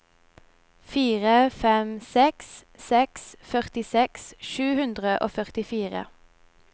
fire fem seks seks førtiseks sju hundre og førtifire